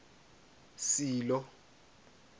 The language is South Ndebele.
silo